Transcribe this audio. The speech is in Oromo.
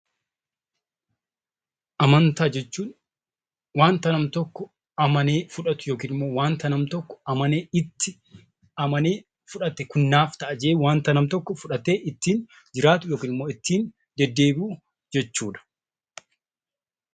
Amantaa jechuun wanta namni tokko amanee fudhatu yookiin immoo wanta namni tokko amanee itti amanee naaf ta'a jedhee ittiin jiraatu yookiin immoo ittiin deddeebi'u jechuudha.